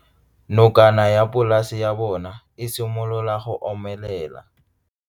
Nokana ya polase ya bona, e simolola go omelela.